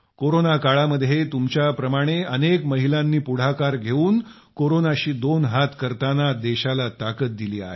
corona काळामध्ये तुमच्याप्रमाणे अनेक महिलांनी पुढाकार घेऊन कोरोनाशी दोन हात करताना देशाला ताकद दिली आहे